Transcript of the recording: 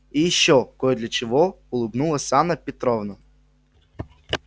и ещё кое для чего улыбнулась анна петровна